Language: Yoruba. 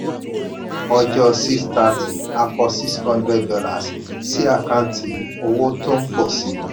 ọjọ́ six ninu thrity a kọ six hundred lollars sí àkántì owó tó ń pọ̀ si.